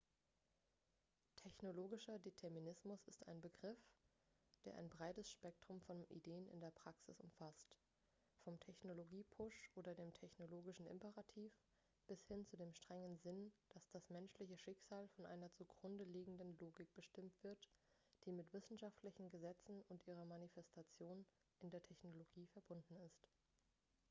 technologischer determinismus ist ein begriff der ein breites spektrum von ideen in der praxis umfasst vom technologie-push oder dem technologischen imperativ bis hin zu dem strengen sinn dass das menschliche schicksal von einer zugrunde liegenden logik bestimmt wird die mit wissenschaftlichen gesetzen und ihrer manifestation in der technologie verbunden ist